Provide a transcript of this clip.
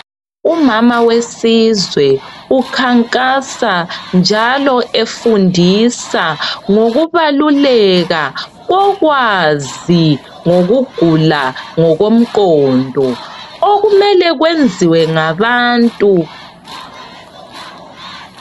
Umama wesizwe, ukhankasa njalo efundisa ngokubaluleka kokwazi ngokugula ngokomqondo okumele kwenziwe ngabantu